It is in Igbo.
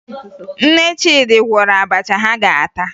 Nne Chidi gwọrọ abacha ha ga-ata